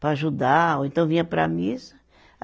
para ajudar, ou então vinha para a missa.